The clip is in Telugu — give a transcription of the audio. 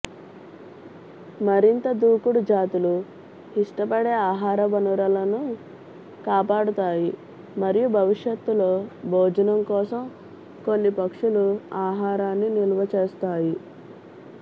మరింత దూకుడు జాతులు ఇష్టపడే ఆహార వనరులను కాపాడతాయి మరియు భవిష్యత్తులో భోజనం కోసం కొన్ని పక్షులు ఆహారాన్ని నిల్వచేస్తాయి